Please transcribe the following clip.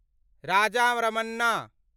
Raja Ramanna